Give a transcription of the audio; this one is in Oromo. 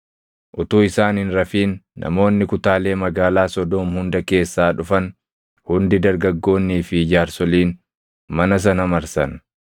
Utuu isaan hin rafin namoonni kutaalee magaalaa Sodoom hunda keessaa dhufan hundi dargaggoonnii fi jaarsoliin mana sana marsan.